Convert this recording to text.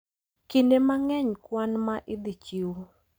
Kinde mang`eny kwan ma idhi chiw,